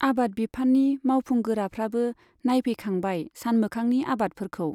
आबाद बिफाननि मावफुंगोराफ्राबो नायफै खांबाय सानमोखांनि आबादफोरखौ।